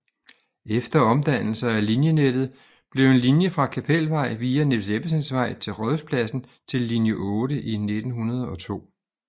Efter omdannelser af linjenettet blev en linje fra Kapelvej via Niels Ebbesens Vej til Rådhuspladsen til linje 8 i 1902